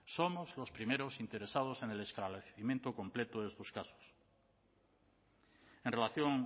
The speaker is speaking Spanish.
somos los primeros interesados en el esclarecimiento completo de estos casos en relación